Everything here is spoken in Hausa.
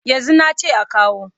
Yanzu na ce a kawo.